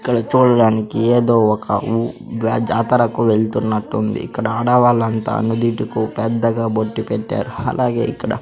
ఇక్కడ చూడటానికి ఏదో ఒక ఉ జాతరకు వెళ్తున్నట్టుంది ఇక్కడ ఆడవాళ్లంతా నుదుటికు పెద్దగా బొట్టు పెట్టారు అలాగే ఇక్కడ--